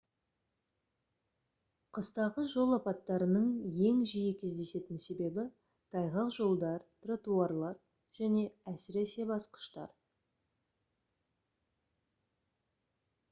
қыстағы жол апаттарының ең жиі кездесетін себебі тайғақ жолдар тротуарлар және әсіресе басқыштар